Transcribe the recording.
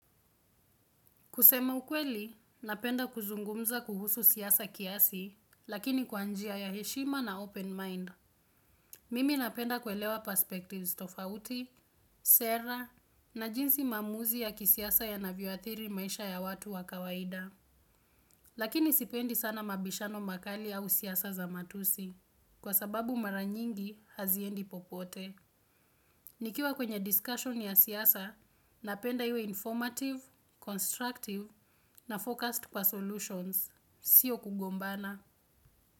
Kusema ukweli, napenda kuzungumza kuhusu siasa kiasi, lakini kwa njia ya heshima na open mind. Mimi napenda kuelewa perspectives tofauti sera na jinsi maamuzi ya kisiasa yanavyoathiri maisha ya watu wa kawaida. Lakini sipendi sana mabishano makali au siasa za matusi, kwa sababu mara nyingi haziendi popote. Nikiwa kwenye discussion ya siasa, napenda iwe informative, constructive na focused kwa solutions, sio kugombana.